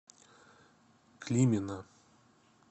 климина